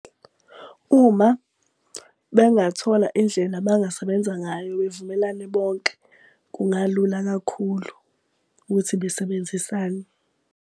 Uma bengathola indlela abangasebenza ngayo bavumelane bonke, kungalula kakhulu ukuthi besebenzisane.